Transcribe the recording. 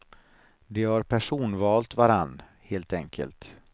De har personvalt varann, helt enkelt.